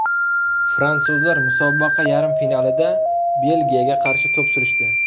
Fransuzlar musobaqa yarim finalida Belgiyaga qarshi to‘p surishdi.